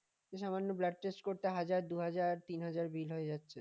সামান্য blood test করতে হাজার দুই হাজার তিন হাজার bill হয়ে যাচ্ছে